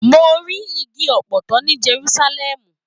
Mo ri igi ọpọtọ ní Jerúsálẹ́mù.